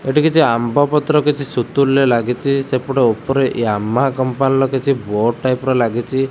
ଏଇଟି କିଛି ଆମ୍ବ ପତ୍ର ସୁତୁଲିରେ ଲାଗିଛି ସେପଟେ ଉପରେ ୟମା କମ୍ପାନୀ ର ବୋର୍ଡ ଟାଇପ୍ ଲାଗିଛି।